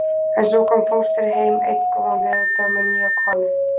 En svo kom fóstri heim einn góðan veðurdag með nýja konu.